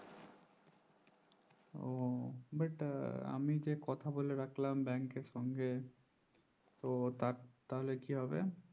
but আমি যে কথা বলে রাখলাম bank এর সঙ্গে তো তার তাহলে কি হবে